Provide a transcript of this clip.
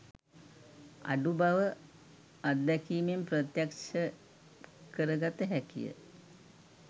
අඩු බව අත්දැකීමෙන් ප්‍රත්‍යක්ෂ කරගත හැකිය